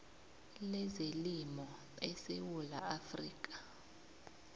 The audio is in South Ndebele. lezelimo esewula afrika